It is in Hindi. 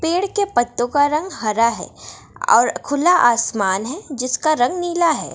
पेड़ के पत्तों का रंग हरा है और खुला आसमान है जिसका रंग नीला है ।